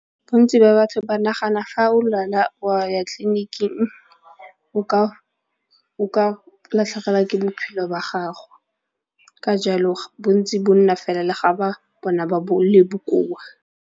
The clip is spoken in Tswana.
Bontsi ba batho ba nagana fa o lwala wa ya tleliniking o ka latlhegelwa ke bophelo ba gago ka jalo bontsi bo nna fela ga ba bona ba le bokoa.